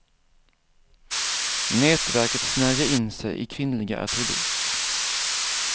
Nätverket snärjer in sig i kvinnliga attribut.